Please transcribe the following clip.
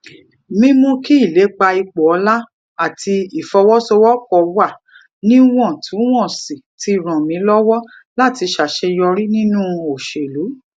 mímú kí ìlépa ipò ọlá àti ìfọwósowópò wà níwòntúnwònsì ti ràn mí lówó láti ṣàṣeyọrí nínú òṣèlú